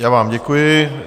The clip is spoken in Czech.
Já vám děkuji.